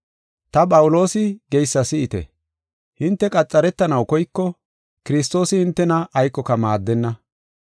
Ta, Phawuloosi, geysa si7ite. Hinte qaxaretanaw koyko, Kiristoosi hintena aykoka maaddenna.